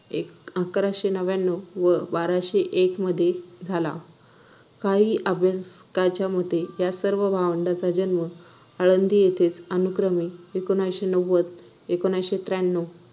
एक अकराशे नव्यान्नव व बाराशे एक मध्ये झाला. काही अभ्यासकांच्या मते या सर्व भावंडांचा जन्म आळंदी येथेच अनुक्रमे एकोणविशे नव्वद एकोणविशे त्र्याण्णव